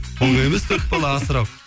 оңай емес төрт бала асырау